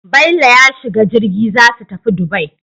Bello ya shiga jirgi zasu tafi Dubai